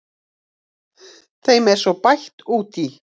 Þeim er svo bætt út í.